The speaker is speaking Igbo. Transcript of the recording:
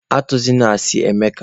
Atụzịna asị, Emeka!